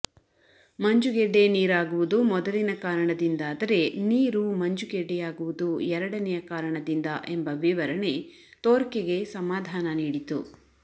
ಮಂಜುಗೆಡ್ಡೆ ನೀರಾಗುವುದು ಮೊದಲಿನ ಕಾರಣದಿಂದಾದರೆ ನೀರು ಮಂಜುಗೆಡ್ಡೆಯಾಗುವುದು ಎರಡನೆಯ ಕಾರಣದಿಂದ ಎಂಬ ವಿವರಣೆ ತೋರ್ಕೆಗೆ ಸಮಧಾನ ನೀಡಿತು